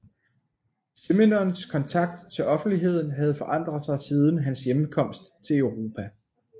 Simenons kontakt til offentligheden havde forandret sig siden hans hjemkomst til Europa